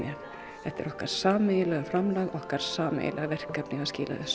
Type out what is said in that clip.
þetta er okkar sameiginlega framlag okkar sameiginlega verkefni að skila þessu